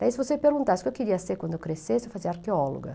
Daí se você perguntasse o que eu queria ser quando eu crescesse, eu fazia: arqueóloga.